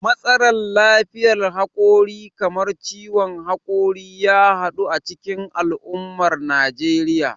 Matsalar lafiyar hakori kamar ciwon hakori ya yaɗu a cikin al'ummar Najeriya.